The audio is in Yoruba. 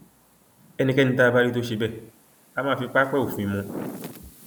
ẹnikẹni tá a bá rí tó ṣe bẹẹ á máa fi pápẹ òfin mú un